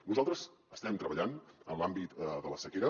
nosaltres estem treballant en l’àmbit de la sequera